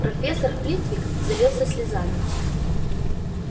профессор флитвик залился слезами